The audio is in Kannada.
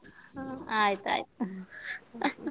ಆಯ್ತು ಆಯ್ತು .